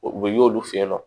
O bɛ y'olu fe yen nɔ